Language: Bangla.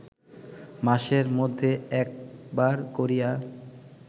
মাসের মধ্যে একবার করিয়া